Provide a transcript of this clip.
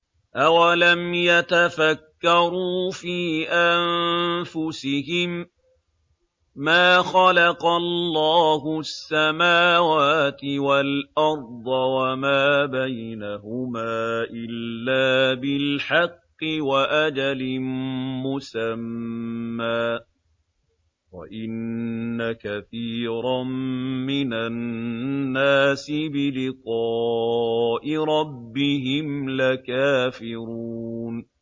أَوَلَمْ يَتَفَكَّرُوا فِي أَنفُسِهِم ۗ مَّا خَلَقَ اللَّهُ السَّمَاوَاتِ وَالْأَرْضَ وَمَا بَيْنَهُمَا إِلَّا بِالْحَقِّ وَأَجَلٍ مُّسَمًّى ۗ وَإِنَّ كَثِيرًا مِّنَ النَّاسِ بِلِقَاءِ رَبِّهِمْ لَكَافِرُونَ